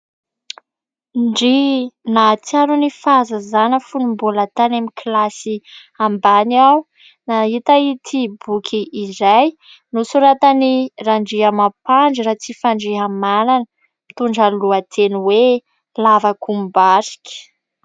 Ndry ! Nahatsiaro ny fahazazana fony mbola tany amin'ny kilasy ambany aho, nahita ity boky iray nosoratan'i Randriamampandry Ratsifandrihamanana, mitondra ny lohateny hoe LAVAKOMBARIKA.